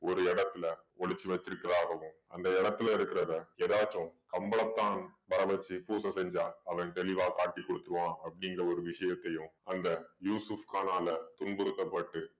ஒரு இடத்துல ஒளிச்சு வெச்சிருக்கிறதாகவும் அந்த இடத்துல இருக்கிறத ஏதாச்சும் கம்பளத்தான் வர வெச்சு பூசை செஞ்சா அவன் தெளிவா காட்டி கொடுத்துடுவான் அப்படீங்கற ஒரு விஷயத்தையும் அந்த யூசுஃப் கானால துன்புறுத்தப்பட்டு